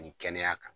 Ni kɛnɛya kan